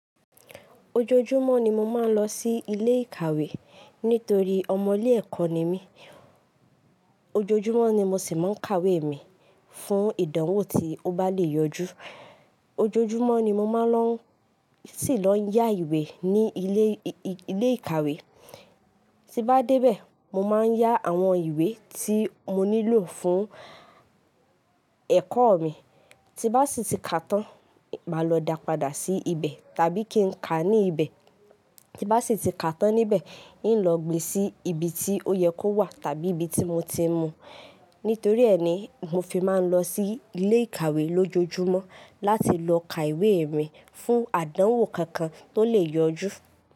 Ojoojúmọ́ ni mo máa ń lọ sí ilé ìkàwé nítorí ọmọ ilé ẹ̀kọ́ ni mí. Ojoojúmọ́ ni mo sì máa ń kàwé mi fún ìdánwò tí ó bá le yọjú. Ojoojúmọ́ ni mo máa ń sì lọ yá ìwé ní ilé, ilé ìkàwé. Ti bá dé bẹ́ẹ̀, mo máa yá àwọn ìwé tí mo nílò fún ẹ̀kọ́ mi. Tí bá sì ti kà tán, máa lọ dà padà sí ibẹ̀ tàbí kí n kà á ní ibẹ̀. Tí bá sì ti kà tán níbẹ̀, hín lọ gbe sí ibi tí ó yẹ kó wà tàbí ibi tí mo ti mú. Nítorí ẹ ni, mo fi máa ń lọ sí ilé ìkàwé lójoojúmọ́ láti lọ ka ìwé mi fún àdánwò kankan tó lè yọjú.